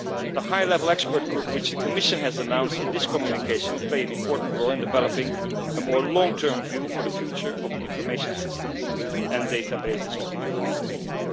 The High Level Expert Group which the Commission announced in this communication will play an important role in developing a more long term view for the future of the information systems and databases of the European Union.